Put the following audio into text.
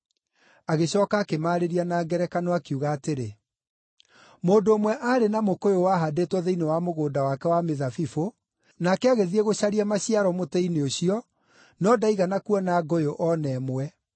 Agĩcooka akĩmaarĩria na ngerekano, akiuga atĩrĩ, “Mũndũ ũmwe aarĩ na mũkũyũ wahandĩtwo thĩinĩ wa mũgũnda wake wa mĩthabibũ, nake agĩthiĩ gũcaria maciaro mũtĩ-inĩ ũcio, no ndaigana kuona ngũyũ o na ĩmwe.